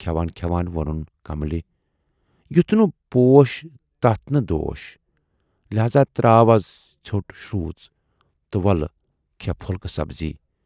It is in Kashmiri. کھٮ۪وان کھٮ۪وان وونُن کملہِ"یَتھ نہٕ پوٗش تتھ نہٕ دوٗش، لہذا تراو اَز ژھیوٹ شروٗژ تہٕ وۅلہٕ کھے پھُلکہٕ سبزی